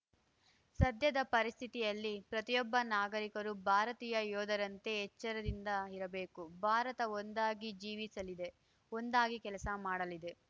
ಸದ್ಯದ ಪರಿಸ್ಥಿತಿಯಲ್ಲಿ ಪ್ರತಿಯೊಬ್ಬ ನಾಗರಿಕರೂ ಭಾರತೀಯ ಯೋಧರಂತೆ ಎಚ್ಚರದಿಂದ ಇರಬೇಕು ಭಾರತ ಒಂದಾಗಿ ಜೀವಿಸಲಿದೆ ಒಂದಾಗಿ ಕೆಲಸ ಮಾಡಲಿದೆ